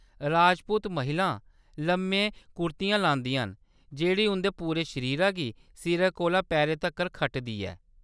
राजपूत महिलां लम्मे कुर्ती लांदियां न जेह्‌‌ड़ी उंʼदे पूरे शरीरा गी सिरै कोला पैरें तक्कर खटदी ऐ।